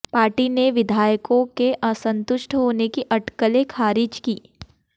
party ने विधायकों के असंतुष्ट होने की अटकलें खारिज की